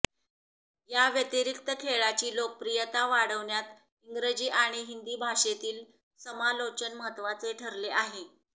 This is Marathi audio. याव्यतिरिक्त खेळाची लोकप्रियता वाढण्यात इंग्रजी आणि हिंदी भाषेतील समालोचन महत्त्वाचे ठरले आहे